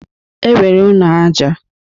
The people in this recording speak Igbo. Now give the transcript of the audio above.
E nwere ụnọ aja.